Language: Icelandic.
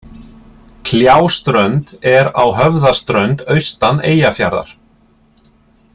Kljáströnd er á Höfðaströnd austan Eyjafjarðar.